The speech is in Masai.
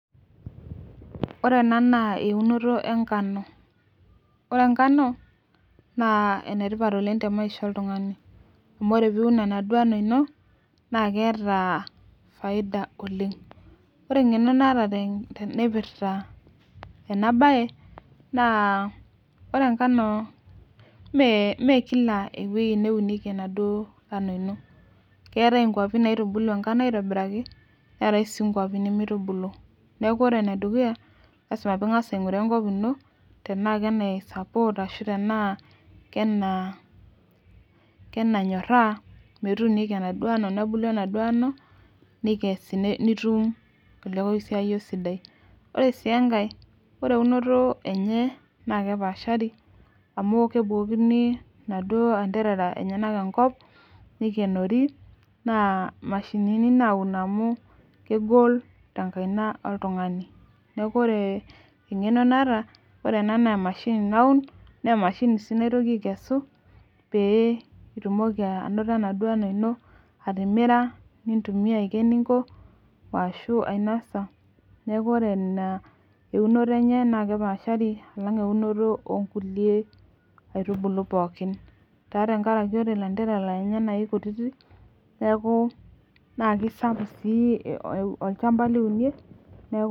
Ore ena naa eunoto enkano. ore enkano naa enetipat oleng temaisha oltungani. amu ore pee iun enaduoo ano ino naa keeta faida oleng. ore engeno naata naipirta ena bae naa ore enkano mme Kila ewueji neunieki enaduoo kano ino. keetae iwuejitin nkaitubulu enkano aitobiraki, neetae sii nkuapi nimirubulu. neeku ore ene dukuya, lasima pee ingas aingura enkop ino tenaa kenai support tenaa kenainyoraa metuunieki enaduoo ano. nebulu enaduoo ano. nitum, olekosiayio sidai. ore sii enkae .ore eunoto enye naa ekepaashari. amu kebukokini inaduoo anterara lenyenak enkop. nikenori naa mashini I naun amu kegol tenkaina oltungani. neeku ore eng'eno naata ore ena naa emashini, naun Nas emashini sii. naotoki aikesu. pee itumoki anoto enaduoo ano ino atimira. nintumia Aiko eninko ashu, ainosa neeku ore iena eunoto enye naa ekepaashari alang' eunoto ok nkulie, aitubulu pookin. taa tenkaraki ore lanterera lenye naa kikututik neeku, naa kisapuk sii ilchampa liunie. neeku